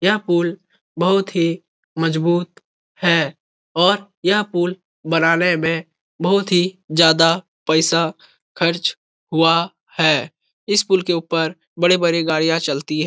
यह पुल बहुत ही मजबूत है और यह पुल बनाने में बहुत ही ज्यादा पैसा खर्च हुआ है। इस पुल के ऊपर बड़ी-बड़ी गाड़ियां चलती--